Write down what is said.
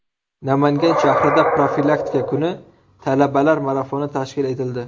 Namangan shahrida profilaktika kuni talabalar marafoni tashkil etildi.